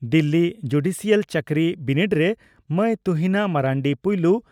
Delhi judicial ᱪᱟᱹᱠᱨᱤ ᱵᱤᱱᱤᱰᱮ ᱨᱮ ᱢᱟᱹᱭ ᱛᱩᱦᱤᱱᱟ ᱢᱟᱨᱱᱰᱤ ᱯᱩᱭᱞᱩ